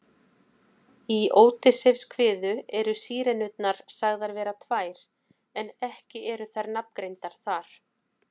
Í Ódysseifskviðu eru Sírenurnar sagðar vera tvær en ekki eru þær nafngreindar þar.